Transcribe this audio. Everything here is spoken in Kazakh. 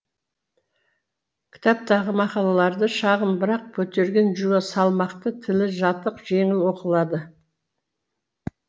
кітаптағы мақалалары шағын бірақ көтерген жүгі салмақты тілі жатық жеңіл оқылады